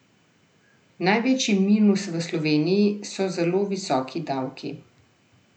Največji minus v Sloveniji so zelo visoki davki.